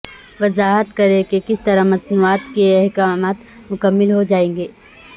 وضاحت کریں کہ کس طرح مصنوعات کے احکامات مکمل ہو جائیں گے